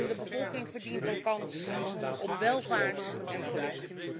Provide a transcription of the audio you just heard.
De bevolking verdient een kans op welvaart en geluk.